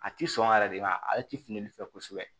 A ti sɔn yɛrɛ de wa ale ti fili ni fɛ kosɛbɛ